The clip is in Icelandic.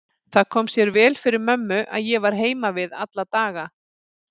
Það kom sér vel fyrir mömmu að ég var heima við alla daga.